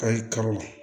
Kayi karo